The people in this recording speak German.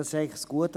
Das ist das Gute.